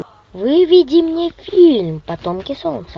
выведи мне фильм потомки солнца